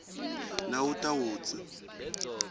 nawutawutsi